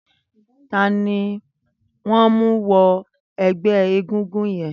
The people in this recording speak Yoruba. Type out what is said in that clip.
Tàní wọ n mú wọ̀nú ẹgbẹ égúngún yèn?